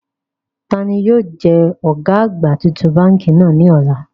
Taani yóò jẹ ọ̀gá àgbà titun báńkì náà ní ọ̀la?